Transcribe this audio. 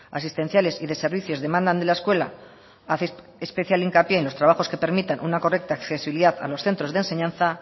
asistenciales y de servicios demandan a la escuela hace especial hincapié en los trabajos que permitan una correcta accesibilidad a los centros de enseñanza